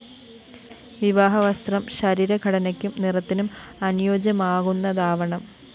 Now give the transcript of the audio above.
വിവാഹ വസ്ത്രം ശരീര ഘടനയ്ക്കും നിറത്തിനും അനുയോജ്യമാകുന്നതാവണം